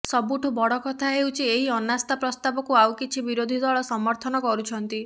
ସବୁଠୁ ବଡ଼ କଥା ହେଉଛି ଏହି ଅନାସ୍ଥା ପ୍ରସ୍ତାବକୁ ଆଉ କିଛି ବିରୋଧୀ ଦଳ ସମର୍ଥନ କରୁଛନ୍ତି